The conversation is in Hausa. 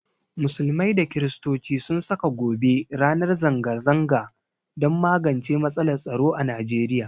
Musulmai da Kirstoci sun saka gobe ranar zanga zanga don magance matsalar tsaro a nigeria